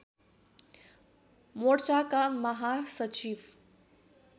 मोर्चाका महासचिव